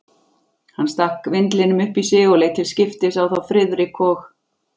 Hann stakk vindlinum upp í sig og leit til skiptis á þá Friðrik og